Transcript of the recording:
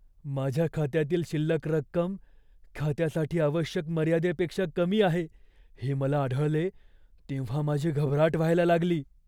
माझ्या खात्यातील शिल्लक रक्कम खात्यासाठी आवश्यक मर्यादेपेक्षा कमी आहे हे मला आढळले तेव्हा माझी घबराट व्हायला लागली.